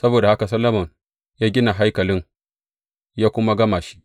Saboda haka Solomon ya gina haikalin ya kuma gama shi.